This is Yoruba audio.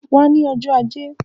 Wá ní ọjọ́ ajé